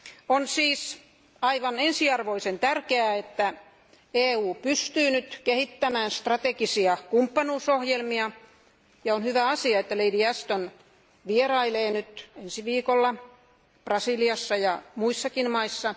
On siis aivan ensiarvoisen tärkeää, että EU pystyy nyt kehittämään strategisia kumppanuusohjelmia, ja on hyvä asia, että Lady Ashton vierailee ensi viikolla Brasiliassa ja muissakin maissa.